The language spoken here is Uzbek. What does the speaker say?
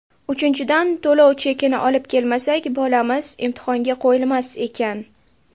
Uchinchidan, to‘lov chekini olib kelmasak, bolamiz imtihonga qo‘yilmas ekan!